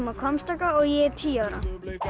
á Hvammstanga og ég er tíu ára